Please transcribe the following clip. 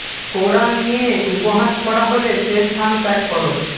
কোরআন নিয়ে উপহাস করা হলে সে স্থান ত্যাগ করো